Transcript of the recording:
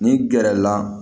N'i gɛrɛ la